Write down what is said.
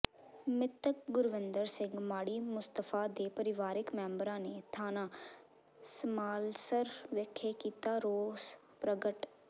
ਮਿ੍ਤਕ ਗੁਰਵਿੰਦਰ ਸਿੰਘ ਮਾੜੀ ਮੁਸਤਫ਼ਾ ਦੇ ਪਰਿਵਾਰਿਕ ਮੈਂਬਰਾਂ ਨੇ ਥਾਣਾ ਸਮਾਲਸਰ ਵਿਖੇ ਕੀਤਾ ਰੋਸ ਪ੍ਰਗਟ